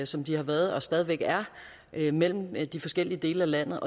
som de har været og stadig væk er det mellem de forskellige dele af landet